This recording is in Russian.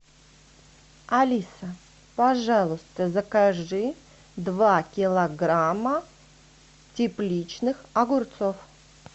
алиса пожалуйста закажи два килограмма тепличных огурцов